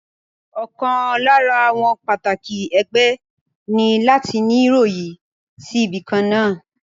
Ọ̀kan lára àwọn pàtàkì ẹgbẹ́ ní láti ní yọrí sí ibìkan náà